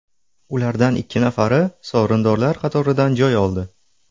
Ulardan ikki nafari sovrindorlar qatoridan joy oldi.